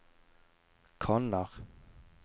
kanner